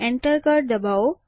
Enter કળ દબાવો